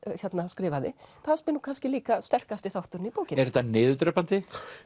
skrifaði fannst mér nú kannski líka sterkasti þátturinn í bókinni er þetta niðurdrepandi